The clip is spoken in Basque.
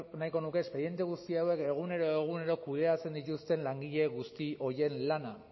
nahiko nuke espediente guzti hauek egunero egunero kudeatzen dituzten langile guzti horien lana